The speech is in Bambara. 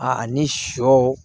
A ni sɔ